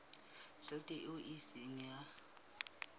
tjhelete eo e seng ya